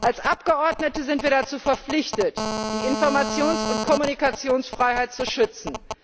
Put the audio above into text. Als Abgeordnete sind wir dazu verpflichtet, die Informations und Kommunikationsfreiheit zu schützen.